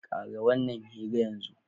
Ƙare wannan hira yanzu!